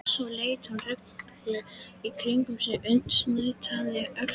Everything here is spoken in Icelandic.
Svo leit hún rugluð í kringum sig og nuddaði öxlina.